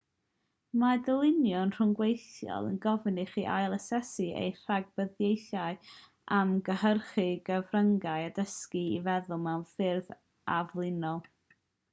mae dylunio rhyngweithiol yn gofyn i chi ail-asesu eich rhagdybiaethau am gynhyrchu cyfryngau a dysgu i feddwl mewn ffyrdd aflinol